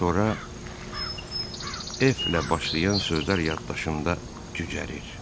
Sonra F-lə başlayan sözlər yaddaşımda cücərir.